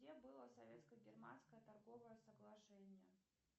где было советско германское торговое соглашение